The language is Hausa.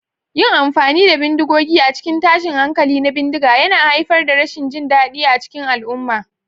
Yin amfani da bindigogi a cikin tashin hankali na bindiga yana haifar da rashin jin daɗi a cikin al'umma.